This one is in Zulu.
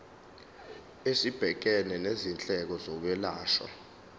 esibhekene nezindleko zokwelashwa